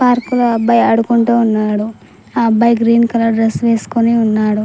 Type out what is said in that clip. Park లో అబ్బాయి ఆడుకుంటూ ఉన్నాడు ఆ అబ్బాయి గ్రీన్ కలర్ డ్రెస్ వేసుకొని ఉన్నాడు.